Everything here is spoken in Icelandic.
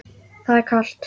Það er kalt.